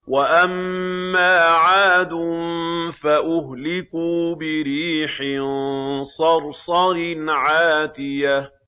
وَأَمَّا عَادٌ فَأُهْلِكُوا بِرِيحٍ صَرْصَرٍ عَاتِيَةٍ